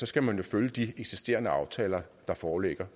skal man følge de eksisterende aftaler der foreligger